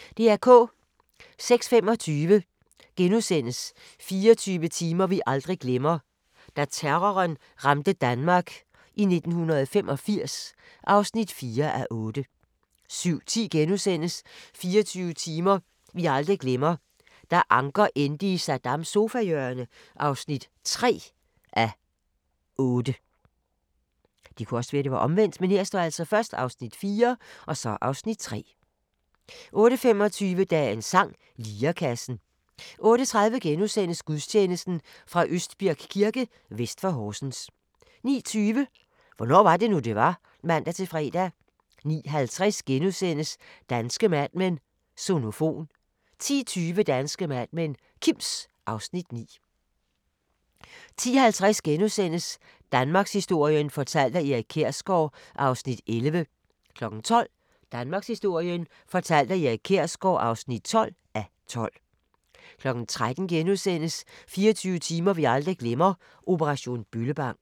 06:25: 24 timer vi aldrig glemmer: Da terroren ramte Danmark i 1985 (4:8)* 07:10: 24 timer vi aldrig glemmer: Da Anker endte i Saddams sofahjørne (3:8)* 08:25: Dagens sang: Lirekassen 08:30: Gudstjeneste fra Østbirk Kirke, vest for Horsens * 09:20: Hvornår var det nu, det var? (man-fre) 09:50: Danske Mad Men: Sonofon (Afs. 7)* 10:20: Danske Mad Men: Kims (Afs. 9) 10:50: Danmarkshistorien fortalt af Erik Kjersgaard (11:12)* 12:00: Danmarkshistorien fortalt af Erik Kjersgaard (12:12) 13:00: 24 timer vi aldrig glemmer – operation Bøllebank *